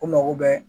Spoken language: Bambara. U mago bɛɛ